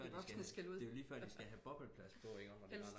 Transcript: Det er jo lige før det er jo lige før de skal have bobbelplast på jo